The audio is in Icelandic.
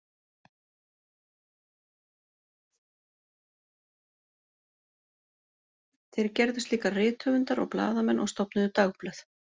Þeir gerðust líka rithöfundar og blaðamenn og stofnuðu dagblöð.